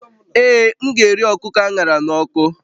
Ee, m ga-eri kụkọ a ṅara n'ọkụ